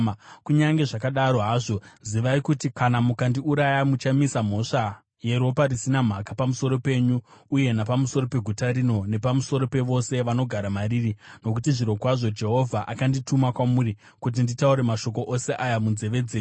Kunyange zvakadaro hazvo, zivai kuti, kana mukandiuraya muchamisa mhosva yeropa risina mhaka pamusoro penyu uye napamusoro peguta rino, nepamusoro pevose vanogara mariri, nokuti zvirokwazvo Jehovha akandituma kwamuri kuti nditaure mashoko ose aya munzeve dzenyu.”